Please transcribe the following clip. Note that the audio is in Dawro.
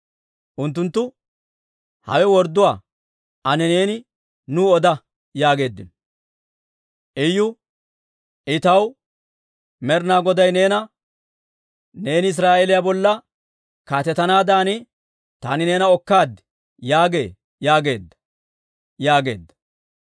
Unttunttu, «Hawe wordduwaa. Ane neeni nuw oda» yaageeddino. Iyu, «I taw, Med'ina Goday neena, ‹Neeni Israa'eeliyaa bolla kaatetanaadan taani neena okkaad› yaagee yaageedda» yaageedda.